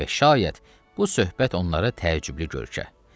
Və şayət bu söhbət onlara təəccüblü görkə.